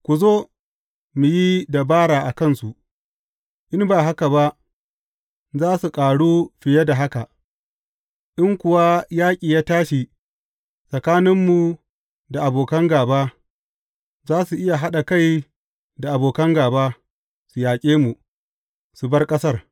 Ku zo, mu yi dabara a kansu, in ba haka ba za su ƙaru fiye da haka, in kuwa yaƙi ya tashi tsakaninmu da abokan gāba, za su iya haɗa kai da abokan gāba, su yaƙe mu, su bar ƙasar.